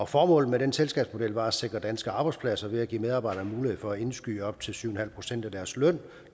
formålet med den selskabsmodel var at sikre danske arbejdspladser ved at give medarbejdere mulighed for at indskyde op til syv en halv procent af deres løn